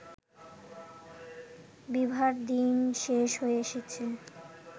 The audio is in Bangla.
বিভার দিন শেষ হয়ে এসেছে